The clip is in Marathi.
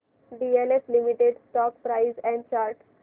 DLF limited stock price and chart